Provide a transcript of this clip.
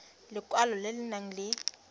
lekwalo le le nang le